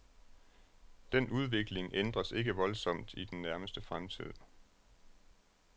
Den udvikling ændres ikke voldsomt i den nærmeste fremtid.